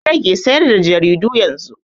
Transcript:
An rage sayar da jaridu yanzu.